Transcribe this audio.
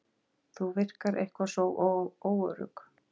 Þú virkar eitthvað svo óörugg.